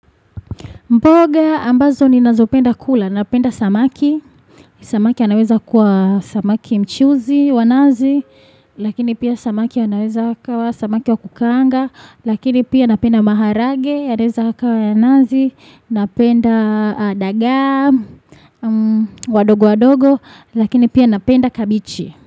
Mboga ambazo ninazopenda kula. Napenda samaki. Samaki anaweza kuwa samaki mchuzi wa nazi. Lakini pia samaki anaweza akawa samaki wa kukaanga. Lakini pia napenda maharage. Yanaeza kawa ya nazi. Napenda dagaa. Wadogo wadogo. Lakini pia napenda kabichi.